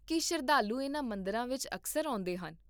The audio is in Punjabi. ਕੀ ਸ਼ਰਧਾਲੂ ਇਨ੍ਹਾਂ ਮੰਦਰਾਂ ਵਿੱਚ ਅਕਸਰ ਆਉਂਦੇ ਹਨ?